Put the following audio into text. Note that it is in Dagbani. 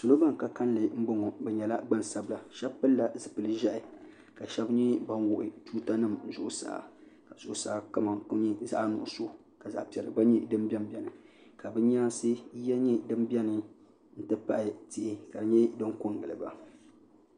Salo ban ka kalinli n bɔŋo bi nyɛla gbansabila shɛba pili la zipili ʒiɛhi ka shɛba nyɛ ban wuɣi tuuta nim zuɣusaa ka zuɣusaa kama nyɛ zaɣa nuɣusu ka zaɣa piɛlli gba bɛ n bɛni ka bi nyaansi yiya nyɛ din bɛni n ti pahi tihi ka di nyɛ din ko n giliba.